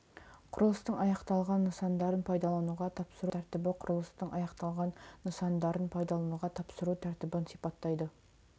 құрылыстың аяқталған нысандарын пайдалануға тапсыру тәртібі құрылыстың аяқталған нысандарын пайдалануға тапсыру тәртібін сипаттайды